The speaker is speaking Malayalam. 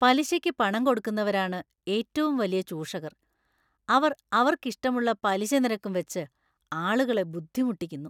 പലിശയ്ക്ക് പണംകൊടുക്കുന്നവരാണ് ഏറ്റവും വലിയ ചൂഷകർ; അവർ അവർക്കിഷ്ടമുള്ള പലിശനിരക്കും വെച്ച് ആളുകളെ ബുദ്ധിമുട്ടിക്കുന്നു.